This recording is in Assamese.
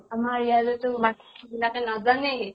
আমাৰ ইয়াৰে টো বিলাকে নাজানেই